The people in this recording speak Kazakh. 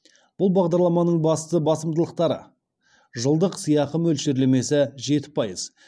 бұл бағдарламаның басты басымдықтары жылдық сыйақы мөлшерлемесі жеті пайыз